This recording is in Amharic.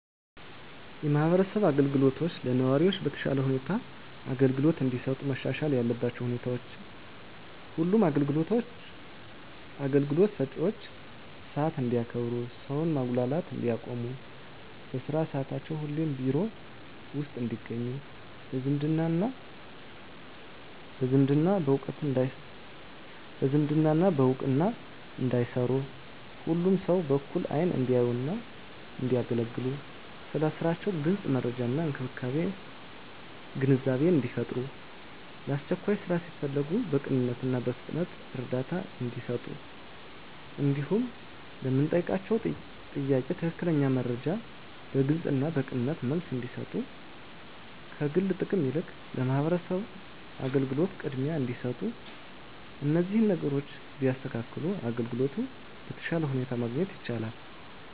የማህበረሰብ አገልግሎቶች ለነዋሪዎች በተሻለ ሁኔታ አገልግሎት እንዲሰጡ መሻሻል ያለባቸው ሁኔታዎች ሁሉም አገልግሎት ሰጭዎች ሰዓት እንዲያከብሩ ሰውን ማጉላላት እንዲያቆሙ በስራ ሰዓታቸው ሁሌም ቢሮ ውስጥ እንዲገኙ በዝምድና በእውቅና እንዳይሰሩ ሁሉንም ሰው በእኩል አይን እንዲያዩና እንዲያገለግሉ ስለ ስራቸው ግልጽ መረጃና ግንዛቤን እንዲፈጥሩ ለአስቸኳይ ስራ ሲፈለጉ በቅንነትና በፍጥነት እርዳታ እንዲሰጡ እንዲሁም ለምንጠይቃቸው ጥያቄ ትክክለኛ መረጃ በግልጽና በቅንነት መልስ እንዲሰጡ ከግል ጥቅም ይልቅ ለማህበረሰቡ አገልግሎት ቅድሚያ እንዲሰጡ እነዚህን ነገሮች ቢያስተካክሉ አገልግሎት በተሻለ ሁኔታ ማግኘት ይቻላል።